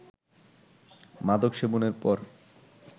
মাদক সেবনের পর